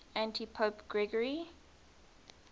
antipope gregory